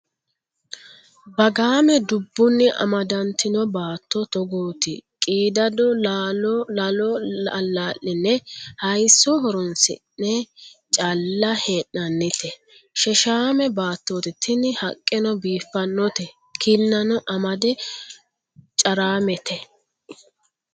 Bagame dubbuni amadatino baatto togoti qiidado la'lo ala'line hayiso horonsidhe calla hee'nannite sheshame baattoti tini haqqeno biifanote kinano amade caramete.